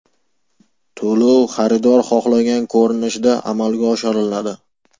To‘lov xaridor xohlagan ko‘rinishda amalga oshiriladi.